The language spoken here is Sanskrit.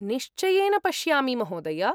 निश्चयेन पश्यामि, महोदय।